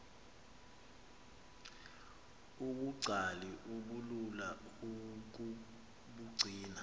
ubungcali obulula ukubugcina